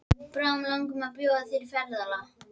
Bráðum langar mig að bjóða þér í ferðalag.